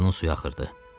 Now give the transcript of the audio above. Ağzının suyu axırdı.